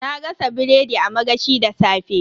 Na gasa biredi a magashi da safe.